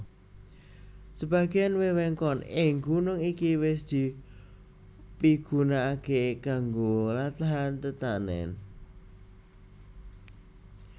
Sebagéan wewengkon ing gunung iki wis dipigunakaké kanggo lahan tetanèn